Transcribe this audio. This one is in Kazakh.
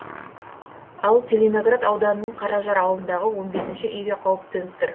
ал целиноград ауданының қаражар ауылындағы он бесінші үйге қауіп төніп тұр